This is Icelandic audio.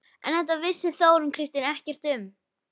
En þetta vissi Þórunn Kristín ekkert um.